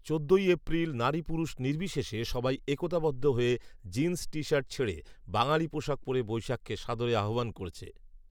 চোদ্দই এপ্রিল নারী পুরুষ নির্বিশেষে সবাই একতাবদ্ধ হয়ে জিন্স টি শার্ট ছেড়ে বাঙালী পোশাক পরে বৈশাখকে সাদরে আহবান করেছে